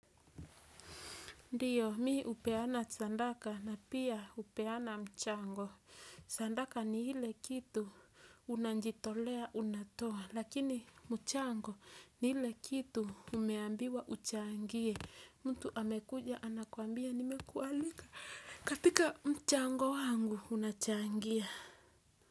Ndiyo mi hupeana sadaka na pia hupeana mchango, sadaka ni ile kitu unajitolea unatoa lakini mchango ni ile kitu umeambiwa uchangie mtu amekuja anakuambia nimekualika katika mchango wangu unachangia.